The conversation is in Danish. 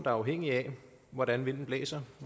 er afhængig af hvordan vinden blæser